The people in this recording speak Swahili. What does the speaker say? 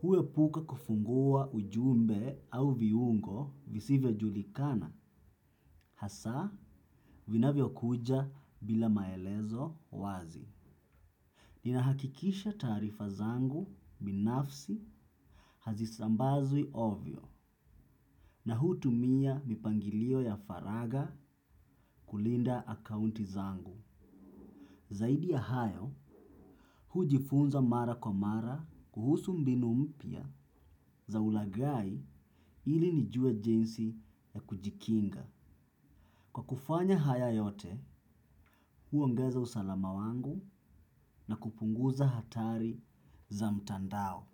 huwepuka kufungua ujumbe au viungo visivyo julikana hasa vinavyo kuja bila maelezo wazi. Nina hakikisha taarifa zangu binafsi hazisambazwi ovyo na hutumia mipangilio ya faraga kulinda akaunti zangu. Zaidi ya hayo, hujifunza mara kwa mara kuhusu mbinu mpya za ulagai ili nijue jinsi ya kujikinga. Kwa kufanya haya yote, huangaza usalama wangu na kupunguza hatari za mtandao.